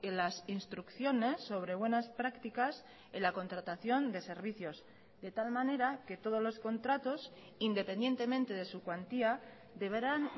las instrucciones sobre buenas prácticas en la contratación de servicios de tal manera que todos los contratos independientemente de su cuantía deberán